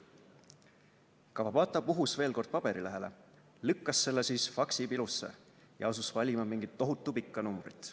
Kawabata puhus veel kord paberilehele, lükkas selle siis faksi pilusse ja asus valima mingit tohutu pikka numbrit.